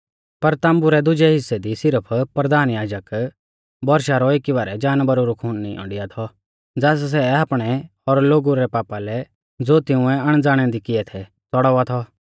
पर ताम्बु रै दुजै हिस्सै दी सिरफ परधान याजक बौरशा रौ एकी बारै जानवरा रौ खून निईंयौ डिआ थौ ज़ास सै आपणै और लोगु रै पापा लै ज़ो तिंउऐ अणज़ाणै दी किऐ थै च़ड़ावा थौ